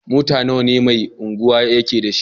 Mata nawa ne Mai Unguwa yake da su?